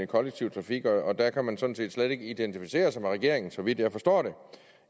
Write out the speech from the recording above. kollektiv trafik og der kan man sådan set slet ikke identificere sig med regeringen så vidt jeg forstår det